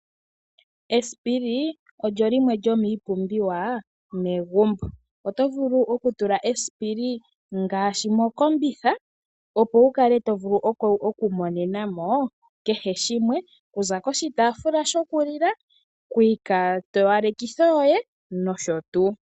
Esipili olyo limwe lyomiipumbiwa yomegumbo. Oto vulu okutula esipili ngaashi mokombitha opo wuvule okumonenamo kehe shimwe okuza koshitaafula shokulila, kiikwatowalekitho yoye noshotuu.